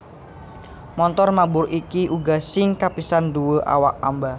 Montor mabur iki uga sing kapisan nduwé awak amba